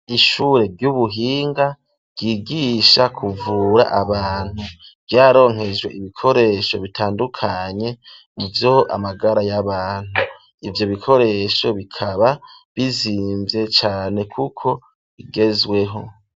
Ishure ry'ubuhinga ,ryigisha kuvura abantu ryaronkejwe ibikoresho bitandukanye, mu vyo amagara y'abantu ,ivyo bikoresho bikaba bizimvye cane ,kuko bigezweho.